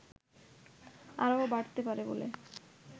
আরও বাড়তে পারে বলে